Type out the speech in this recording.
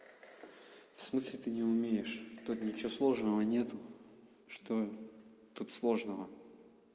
в смысле ты не умеешь тут ничего сложного нету что тут сложного